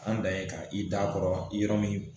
An dan ye ka i da kɔrɔ min